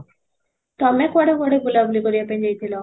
ତମେ କୁଆଡେ କୁଆଡେ ବୁଲା ବୁଲି କରିବା ପାଇଁ ଯାଇଥିଲ?